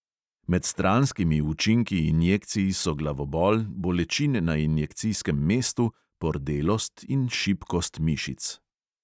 Med stranskimi učinki injekcij so glavobol, bolečine na injekcijskem mestu, pordelost in šibkost mišic.